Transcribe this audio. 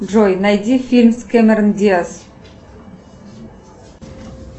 джой найди фильм с кэмерон диаз